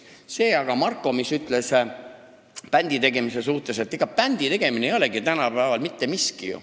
See aga, mida Marko ütles bändi tegemise kohta – bändi tegemine on ju tänapäeval mittemiski.